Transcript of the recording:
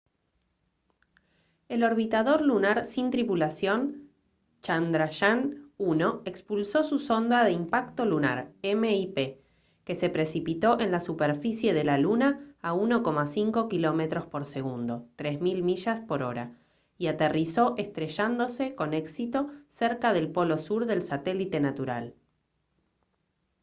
el orbitador lunar sin tripulación chandrayaan-1 expulsó su sonda de impacto lunar mip que se precipitó en la superficie de la luna a 1,5 kilómetros por segundo 3000 millas por hora y aterrizó estrellándose con éxito cerca del polo sur del satélite natural